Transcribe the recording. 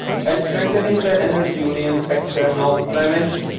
and strengthening the Energy Union's external dimension.